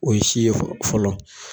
O ye si ye fɔlɔ